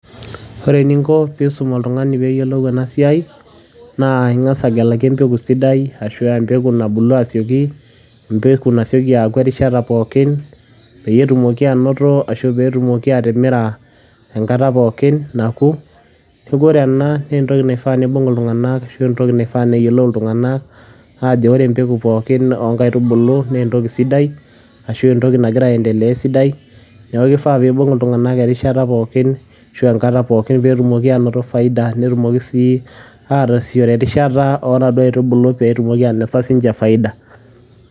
kore ninko piisom oltunganii anaa siai naa ingaz agelakii mpekuu sidai ashuu aa mpekuu nabuluu asiekii, mpeku nasiokii aaku erishata pookin pootumokii aonotaa ashuu pootumokii atimiraa enkataa pookin naaku kore anaa naa ntokii naifaa neibung ltunganak ashuu neifaa neeyolou ltunganak ajoo oree mpekuu pooki oo nkaitubuluu naa ntokii sidai ashuu entokii nagiraa ayendelea sidai naaku keifaa peibung ltungaak rishataa pookin ashuu enkataa pookin pootumokii ainotoo faidaa netumokii sii ataasichore rishataa oo naduo aitubuluu pootumokii sii ninjee ainotoo faida.